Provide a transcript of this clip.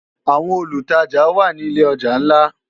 Áwòn ólútàjá wá ni ilé òjá nlá